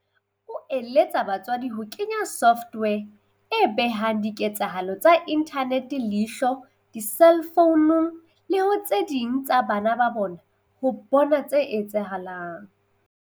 O eletsa batswadi ho kenya software e behang diketsahalo tsa inthanete leihlo diselfounung le ho tse ding tsa bana ba bona ho bona tse etsahalang.